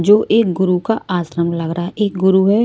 जो एक गुरु का आश्रम लग रहा है एक गुरु---